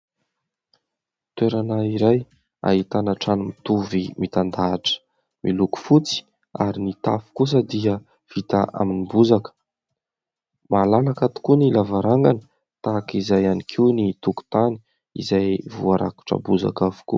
Toerana iray, ahitana trano mitovy mitandahatra miloko fotsy ary ny tafo kosa dia vita amin'ny bozaka. Malalaka tokoa ny lavarangana, tahaka izay ihany koa ny tokotany izay voarakotra bozaka avokoa.